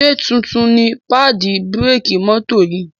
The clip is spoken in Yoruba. Ṣe títún ní paadi bírékì mọ́tò yì?